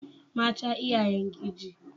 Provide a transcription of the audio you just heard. Mata iyayen giji.